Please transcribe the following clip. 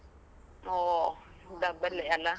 ಓ, double ಅಲ್ಲ.